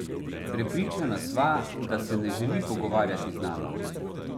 Prepričana sva, da se ne želi pogovarjati z nama.